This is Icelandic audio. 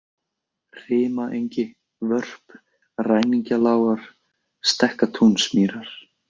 Rimaengi, Vörp, Ræningjalágar, Stekkatúnsmýrar